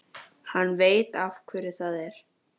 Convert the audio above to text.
Hann veit af hverju það er.